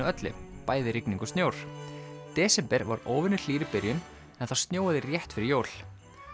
öllu bæði rigning og snjór desember var óvenju hlýr í byrjun en það snjóaði rétt fyrir jól